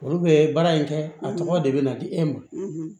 Olu bɛ baara in kɛ a tɔgɔ de bɛ na di e ma